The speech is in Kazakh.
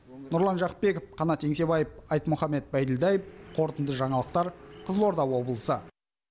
нұрлан жақыпбеков қанат еңсебаев айтмұхамед байділдаев қорытынды жаңалықтар қызылорда облысы